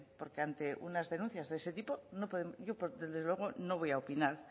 porque ante unas denuncias de ese tipo yo desde luego no voy a opinar